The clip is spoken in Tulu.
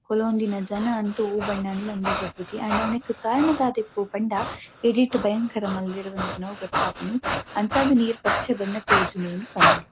ಕುಲೋಂದಿನ ಜನ ಅಂತು ಒವ್ ಬಣ್ಣ ಅಂದ್ಲಾ ಅಂದಾಜಿ ಆಪುಜಿ ಆಂಡ ಅವ್ ನೆಕ್ ಕಾರಣ ದಾದ ಇಪ್ಪು ಪಂಡ ಎಡಿಟ್ ಭಯಂಕರ ಮಲ್ದೆರ್ ಪನ್ಪಿನವು ಗೊತ್ತಾಪುಂಡು. ಅಂಚಾದ್ ನೀರ್ ಪಚ್ಚೆ ಬಣ್ಣ ತೋಜುಂಡುಂದು ಪನೊಲಿ.